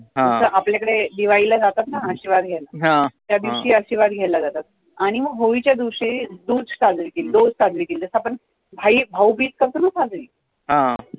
जसे आपल्या कडे दिवाळी ला आशिर्वाद घ्यायला त्या दिवशी आशिर्वाद घ्यायला जातात आणी मग होळी च्या दिवशी जसं आपण भाऊ बीज करतो न साजरी